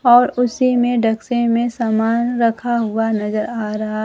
और उसी में डेक्से में सामान रखा हुआ नजर आ रहा--